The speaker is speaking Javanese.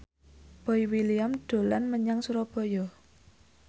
Boy William dolan menyang Surabaya